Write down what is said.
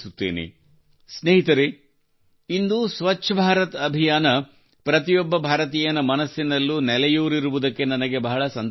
ಸ್ನೇಹಿತರೆ ಇಂದು ಸ್ವಚ್ಛ ಭಾರತ ಅಭಿಯಾನ ಪ್ರತಿಯೊಬ್ಬ ಭಾರತೀಯನ ಮನಸ್ಸಿನಲ್ಲೂ ನೆಲೆಯೂರಿರುವುದಕ್ಕೆ ನನಗೆ ಬಹಳ ಸಂತೋಷವಾಗುತ್ತಿದೆ